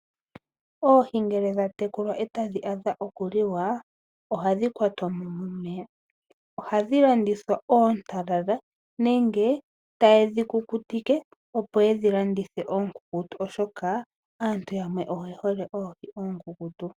Oohi ngele dha tekulwa e ta dhi adha okuliwa, ohadhi kwatwa mo momeya. Ohadhi landithwa oontalala nenge taye dhi kukutike opo yedhi landithe oonkunkutu oshoka aantu yamwe oye hole oohi oonkunkutu.